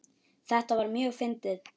Þetta var mjög fyndið.